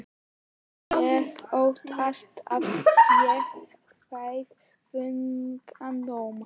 Ég óttast að ég fái þungan dóm.